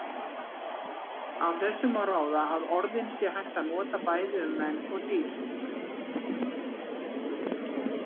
Af þessu má ráða að orðin sé hægt að nota bæði um menn og dýr.